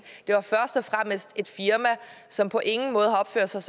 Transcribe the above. det er først og fremmest et firma som på ingen måde har opført sig